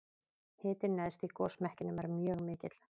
hitinn neðst í gosmekkinum er mjög mikill